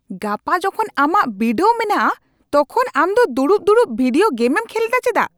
ᱜᱟᱯᱟ ᱡᱚᱠᱷᱚᱱ ᱟᱢᱟᱜ ᱵᱤᱰᱟᱹᱣ ᱢᱮᱱᱟᱜᱼᱟ ᱛᱚᱠᱷᱚᱱ ᱟᱢ ᱫᱚ ᱫᱩᱲᱩᱵ ᱫᱩᱲᱩᱵ ᱵᱷᱤᱰᱤᱭᱳ ᱜᱮᱢᱮᱢ ᱠᱷᱮᱞᱮᱫᱟ ᱪᱮᱫᱟᱜ ?